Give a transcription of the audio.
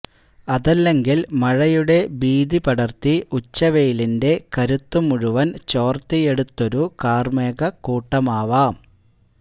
അതല്ലെങ്കിൽ മഴയുടെ ഭീതി പടർത്തി ഉച്ചവെയിലിന്റെ കരുത്തു മുഴുവൻ ചോർത്തിയെടുത്തൊരു കാർമേഘക്കൂട്ടമാവാം